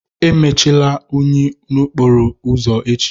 Emechala unyi n'okporo ụzọ echi!